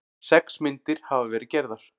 Sex myndir hafa verið gerðar